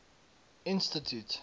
institute